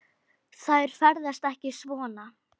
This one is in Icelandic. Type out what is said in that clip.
Þær ferðast ekki svona.